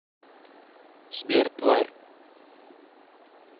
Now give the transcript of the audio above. сбер тварь